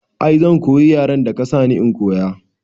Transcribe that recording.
I zan koyi yaren da ka sani in koya